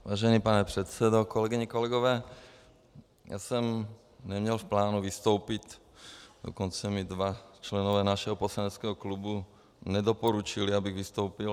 Vážený pane předsedo, kolegyně, kolegové, já jsem neměl v plánu vystoupit, dokonce mi dva členové našeho poslaneckého klubu nedoporučili, abych vystoupil.